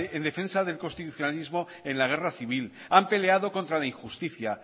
en defensa del constitucionalismo en la guerra civil han peleado contra la injusticia